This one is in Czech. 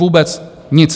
Vůbec nic.